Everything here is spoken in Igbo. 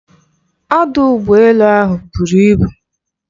Ọdụ ụgbọ elu ahụ buru ibu.